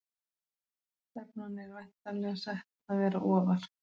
Stefnan er væntanlega sett að vera ofar?